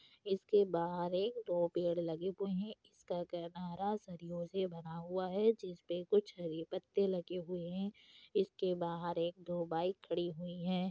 इसके बाहर एक दो पेड़ लगे हुए है इसका सरियों से बना हुआ है जिस पे कुछ हरे पत्ते लगे हुए है इसके बाहर एक दो बाइक खड़ी हुई है |